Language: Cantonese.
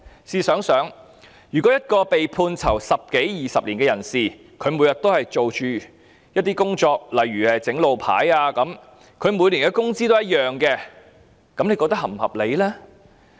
試想想，如果一個被判囚十多二十年的人，每天也做同類工作，例如製作路牌，而他每年的工資也一樣，大家認為是否合理呢？